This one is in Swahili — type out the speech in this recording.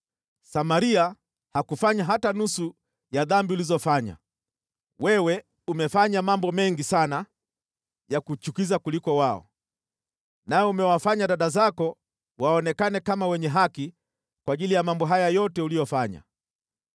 Samaria hakufanya hata nusu ya dhambi ulizofanya. Wewe umefanya mambo mengi sana ya kuchukiza kuwaliko wao, nawe umewafanya dada zako waonekane kama wenye haki kwa ajili ya mambo haya yote uliyoyafanya.